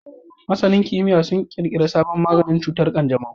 Masanin kimiyya sun kirkiri sabon maganin cutar kanjamau